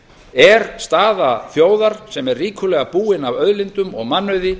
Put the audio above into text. er staða þjóðar sem er ríkulega búin af auðlindum og mannauði